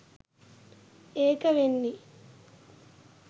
ඒක වෙන්නෙ